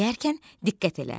Dinləyərkən diqqət elə.